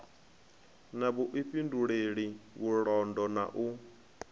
na vhuifhinduleli vhulondo na u